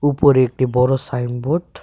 উপরে একটি বড়ো সাইনবোর্ড .